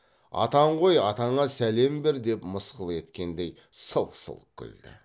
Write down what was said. атаң ғой атаңа сәлем бер деп мысқыл еткендей сылқ сылқ күлді